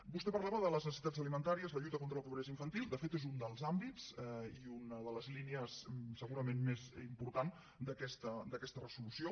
vostè parlava de les necessitats alimentàries la lluita contra la pobresa infantil de fet és un dels àmbits i una de les línies segurament més importants d’aquesta resolució